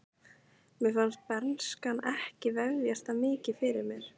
Mér fannst bernskan ekki vefjast það mikið fyrir mér.